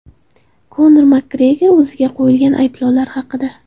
Konor Makgregor o‘ziga qo‘yilgan ayblovlar haqida.